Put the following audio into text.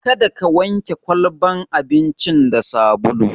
Kada ka wanke kwalbar abincin da sabulu!